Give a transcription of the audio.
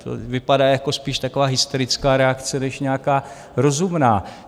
To vypadá jako spíš taková hysterická reakce než nějaká rozumná.